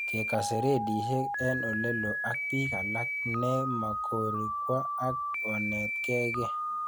Kekase redishek eng' ole loo ak pik alak ne makorik kwok ak onetkei kiy